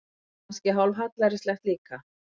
Og kannski hálf hallærislegt líka.